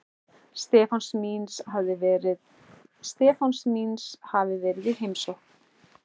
Stefáns míns hafi verið í heimsókn.